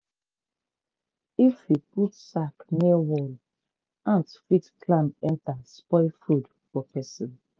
if you put sack near wall ant fit climb enter spoil food for person.